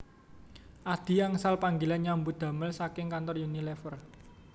Adhi angsal panggilan nyambut damel saking kantor Unilever